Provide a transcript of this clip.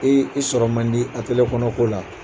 k'i sɔrɔ man di a kɔnɔ ko la